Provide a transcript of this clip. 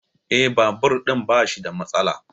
Eh, Babur ɗin bashi da matsala